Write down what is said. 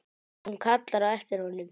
Hún kallar á eftir honum.